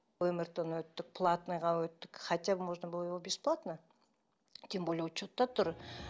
мрт ны өттік платныйға өттік хотя можно было его бесплатно тем более учетта тұр